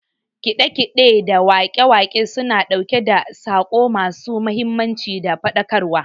Kiɗe kiɗe da waƙe waƙe suna ɗauke da saƙo ma su mahimmanci da faɗakar wa